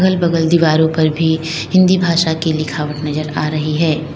बगल की दीवारों पर भी हिंदी भाषा की लिखावट नजर आ रही है।